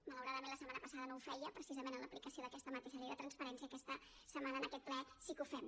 malauradament la setmana passada no ho feia precisament en l’aplicació d’aquesta mateixa llei de transparència aquesta setmana en aquest ple sí que ho fem